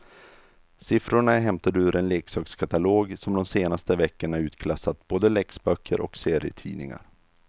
Siffrorna är hämtade ur en leksakskatalog som de senaste veckorna utklassat både läxböcker och serietidningar.